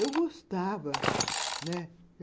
Eu gostava, né?